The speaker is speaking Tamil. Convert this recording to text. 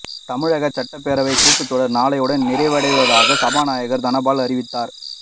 தமிழக சட்டப்பேரவைக் கூட்டத்தொடர் நாளையுடன் நிறைவடைவதாக சபாநாயகர் தனபால் அறிவித்தார்